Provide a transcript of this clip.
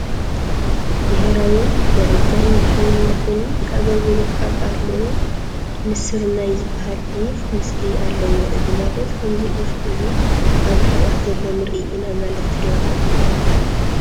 ብሄራዊ መረጃን ድሕንነትን ኣገልግሎት ኣብ ኣርምኡ ንስር ናይ ዝበሃል ዒፍ ምሲሊ ኣለዎ፡፡ እዚ ማለት ከምዚ ዒፍ እዚ ኣብ ርሕቐት ዘሎ ንርኢ ኢና ማለት ዶ ይኾን?